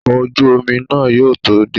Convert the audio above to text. Ọkọ̀ ojú omi náà yóò tó dé